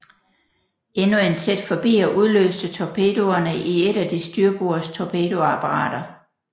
Endnu en tæt forbier udløste torpedoerne i et af de styrbords torpedoapparater